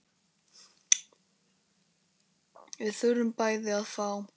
Við þurfum bæði að fá.